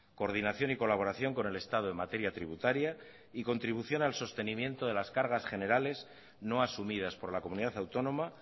coordinación y colaboración con el estado en materia tributaria y contribución al sostenimiento de las cargas generales no asumidas por la comunidad autónoma